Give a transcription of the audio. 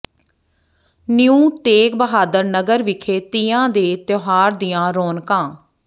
new Tegh Bahadur Nagar ਵਿਖੇ ਤੀਆਂ ਦੇ ਤਿਉਹਾਰ ਦੀਆਂ ਰੌਣਕਾਂ